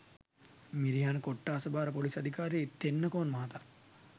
මිරිහාන කොට්‌ඨාස භාර පොලිස්‌ අධිකාරි තෙන්නකෝන් මහතා